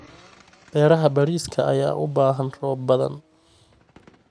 Beeraha bariiska ayaa u baahan roob badan.